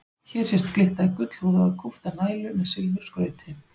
Hér sést glitta í gullhúðaða kúpta nælu með silfurskrauti.